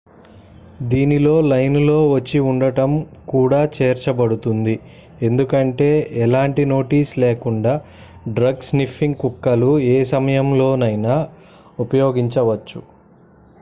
దీనిలో లైన్ లో వేచి ఉండటం కూడా చేర్చబడుతుంది ఎందుకంటే ఎలాంటి నోటీస్ లేకుండా డ్రగ్-స్నిఫింగ్ కుక్కలు ఏ సమయంలోనైనా ఉపయోగించవచ్చు